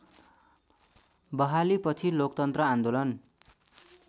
बहालीपछि लोकतन्त्र आन्दोलन